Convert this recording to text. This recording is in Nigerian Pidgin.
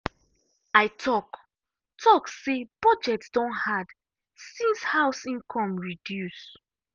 i talk talk say budget don hard since house income reduce.